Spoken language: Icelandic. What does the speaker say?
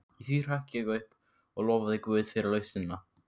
Í því hrökk ég upp og lofaði guð fyrir lausnina.